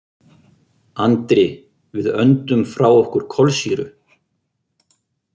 Andri: Við öndum frá okkur kolsýru.